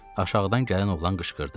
Aşağıdan gələn oğlan qışqırdı.